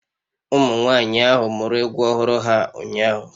Ụmụnwaanyị ahụ muru egwu ọhụrụ ha ụnyahụ